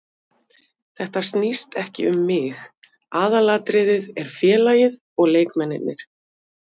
Þetta snýst ekki um mig, aðalatriðið er félagið og leikmennirnir.